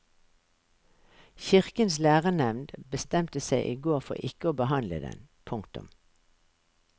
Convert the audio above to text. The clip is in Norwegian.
Kirkens lærenevnd bestemte seg i går for ikke å behandle den. punktum